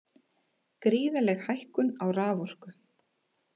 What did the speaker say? Gríðarleg hækkun á raforku